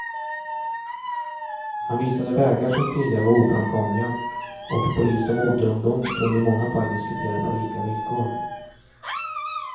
Han visade vägar som tidigare var oframkomliga, och polis och motorungdom kunde i många fall diskutera på lika villkor.